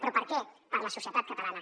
però per què per la societat catalana